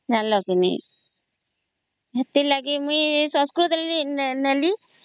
ଜାଣିଲା କେ ନାଇଁ ସେଥିଲାଗି ମୁଇ ସଂସ୍କୃତ ନେଲି